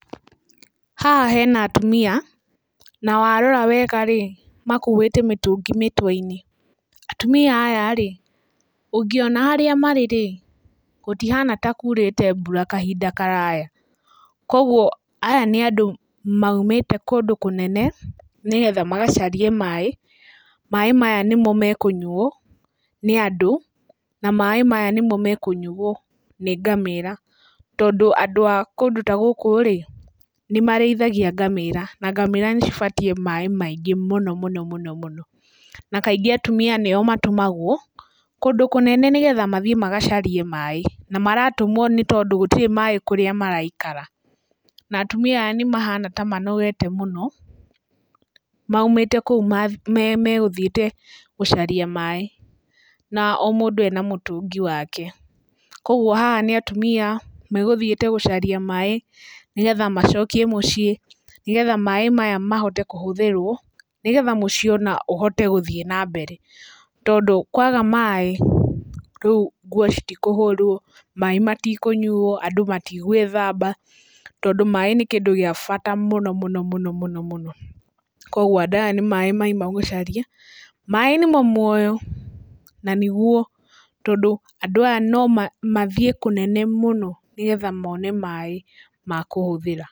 Haha hena atumia na warora wega makuĩte mĩtũngi mĩtwe-inĩ. Atumia ayarĩ ũngĩona harĩa marĩ rĩ gũtihana ta kũrĩte mbura kahinda karaya. Koguo aya nĩ andũ maumĩte kũndũ kũnene, nĩgetha magacarie maaĩ. Maaĩ maya nĩmo mekũyuo nĩ andũ na maaĩ maya nĩmo mekũyuo nĩ ngamĩra. Tondũ andũ a kũndũ ta gũkũ rĩ nĩmarĩithagia ngamĩra na ngamĩra nĩcibatiĩ maaĩ maingĩ mũno mũno mũno. Na kaingĩ atumia nĩo matũmagwo kũndũ kũnene nĩgetha mathiĩ magacarie maaĩ, na maratũmwo tondũ gũtirĩ maaĩ kũrĩa maraikara. Na atumia aya nĩmahana ta manogete mũno, maumĩte kũu magũthiĩte gũcaria maaĩ na o mũndũ ena mũtũngi wake. Koguo haha nĩ atumia megũthiete gũcaria maaĩ, nĩgetha macokie mũciĩ nĩgetha maaĩ maya mahote kũhũthĩrwo, nĩgetha mũciĩ ona ũhote ona gũthiĩ na mbere. Tondũ kwaga maaĩ rĩu nguo citikũhũrwo, maaĩ matikũnyuo, andũ matigwĩthaba tondũ maaĩ nĩ kĩndũ gĩa bata mũno mũno mũno. Koguo andũ aya nĩ maaĩ mauma gũcaria. Maaĩ nĩmo muoyo na nĩguo, tondũ andũ aya no mathiĩ kũnene mũno, nĩgetha mone maaĩ makũhũthĩra.